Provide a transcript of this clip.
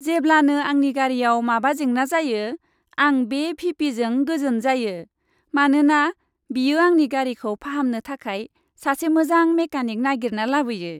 जेब्लानो आंनि गारिआव माबा जेंना जायो, आं बे भि.पि.जों गोजोन जायो, मानोना बियो आंनि गारिखौ फाहामनो थाखाय सासे मोजां मेकानिक नागिरना लाबोयो।